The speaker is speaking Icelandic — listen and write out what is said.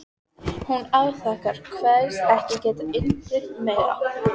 Hún afþakkar, kveðst ekki geta innbyrt meira.